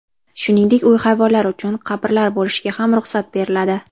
Shuningdek, uy hayvonlari uchun qabrlar bo‘lishiga ham ruxsat beriladi.